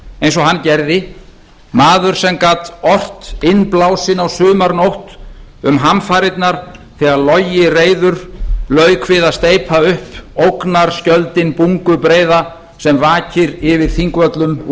eins og hann gerði maður sem gat ort innblásinn á sumarnótt um hamfarirnar þegar logi reiður lauk við að steypa upp ógnarskjöldinn bungubreiða sem vakir yfir þingvöllum úr